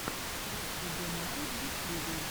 трек вебинары в ютьюбе